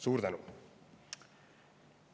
Suur tänu!